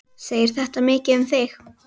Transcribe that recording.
Segir þetta mikið um þig.